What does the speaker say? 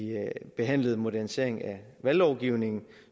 behandlede en modernisering af valglovgivningen